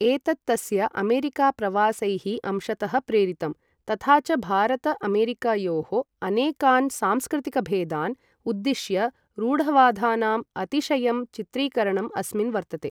एतत् तस्य अमेरिका प्रवासैः अंशतः प्रेरितम्, तथा च भारत अमेरिकयोः अनेकान् सांस्कृतिकभेदान् उद्दिश्य रूढवादानां अतिशयं चित्रीकरणम् अस्मिन् वर्तते।